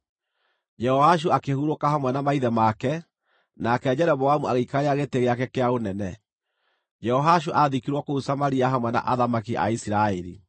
Jehoashu akĩhurũka hamwe na maithe make, nake Jeroboamu agĩikarĩra gĩtĩ gĩake kĩa ũnene. Jehoashu aathikirwo kũu Samaria hamwe na athamaki a Isiraeli.